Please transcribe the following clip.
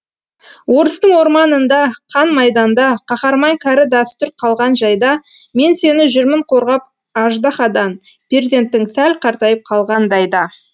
орыстың орманында қан майданда қаһарман кәрі дәстүр қалған жайда мен сені жүрмін қорғап аждаһадан перзентің сәл қартайып қалғандай да